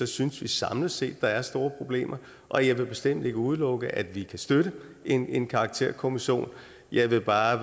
synes vi samlet set at der er store problemer og jeg vil bestemt ikke udelukke at vi kan støtte en en karakterkommission jeg vil bare